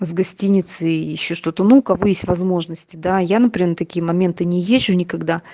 с гостиницы ещё что-то ну у кого есть возможности да я например такие моменты не езжу никогда